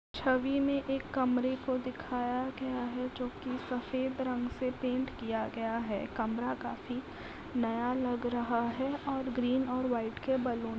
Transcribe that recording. छवि में एक कमरे को दिखाया गया है जो कि सफ़ेद रंग से पेंट किया गया है। कमरा काफी नया लग रहा है और ग्रीन और वाइट के बलून --